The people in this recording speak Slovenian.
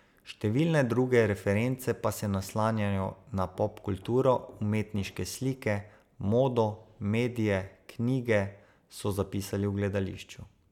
Številne druge reference pa se naslanjajo na popkulturo, umetniške slike, modo, medije, knjige, so zapisali v gledališču.